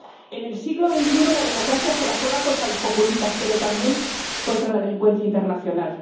En el siglo XXI la democracia se la juega contra los populistas, pero también contra la delincuencia internacional.